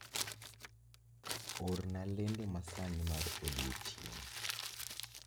Orna lendo masani mar odiechieng'